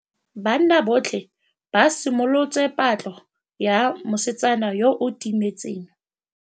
Banna botlhê ba simolotse patlô ya mosetsana yo o timetseng.